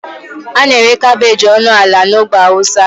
A na-ere kabeji ọnụ ala na ogbe hausa.